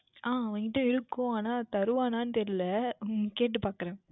அஹ் அவனிடம் இருக்கும் ஆனால் தருவானா என்று தெரியவில்லை உம் கேட்டு பார்க்கின்றேன்